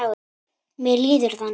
Mér líður þannig.